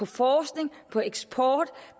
forskning eksport